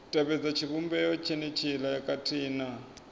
tevhedza tshivhumbeo tshenetshiḽa khathihi na